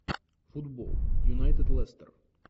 футбол юнайтед лестер